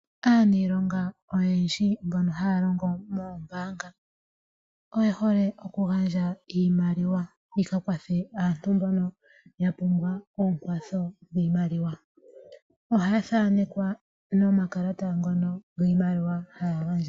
Aaniilonga oyendji mbono haya longo moombaanga. Oyehole oku gandja iimaliwa yi ka kwathe mba ya pumbwa ekwatho yiimaliwa. Ohaya thaanekwa nomakalata ngono giimaliwa haya gandja.